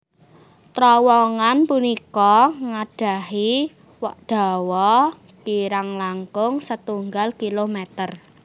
Trowongan punika nggadhahi dawa kirang langkung setunggal kilometer